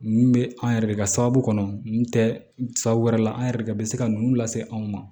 Nin bɛ an yɛrɛ de ka sababu kɔnɔ nin tɛ sabu wɛrɛ la an yɛrɛ de bɛ se ka ninnu lase anw ma